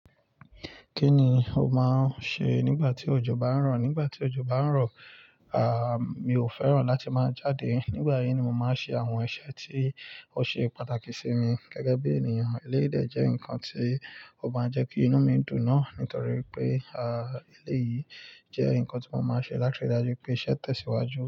Kí ni o máa ń ṣe nígbà tí òjò bá ń rọ̀? Nígbà tí òjò bá ń rọ̀, ah, mi ò fẹ́ràn láti máa jáde. Nígbà yìí ni mo máa ń ṣe àwọn iṣẹ́ tí ó ṣe pàtàkì sí mi gẹ́gẹ́ bí ènìyàn. Elédè jẹ́ nǹkan tí ó máa ń jẹ́ kí inú mi dùn náà nítorí pé, ah, eléyìí jẹ́ nǹkan tí mo máa ń ṣe láti rí dájú pé iṣẹ́ tẹ̀síwájú.